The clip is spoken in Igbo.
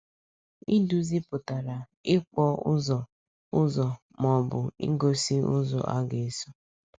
“Iduzi” pụtara “ịkpọ ụzọ ụzọ ma ọ bụ igosi ụzọ a ga-eso.”